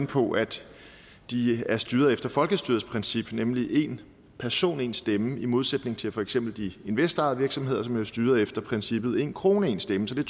på at de er styret efter folkestyrets princip nemlig én person én stemme i modsætning til for eksempel de investorejede virksomheder som jo er styret efter princippet én krone én stemme så det